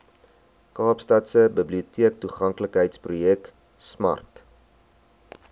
kaapstadse biblioteektoeganklikheidsprojek smart